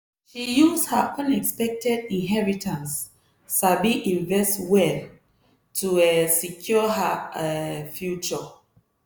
she use her unexpected inheritance sabi invest well to um secure her um future